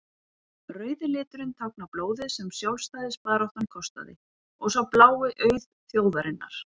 rauði liturinn táknar blóðið sem sjálfstæðisbaráttan kostaði og sá blái auð þjóðarinnar